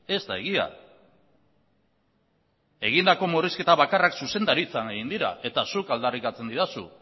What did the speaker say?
ez da egia egindako murrizketa bakarra zuzendaritzan egin dira eta zuk aldarrikatzen didazu